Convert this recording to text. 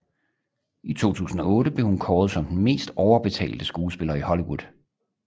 I 2008 blev hun kåret som den mest overbetalte skuespiller i Hollywood